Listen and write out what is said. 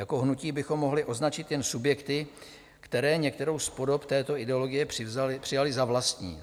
Jako hnutí bychom mohli označit jen subjekty, které některou z podob této ideologie přijaly za vlastní.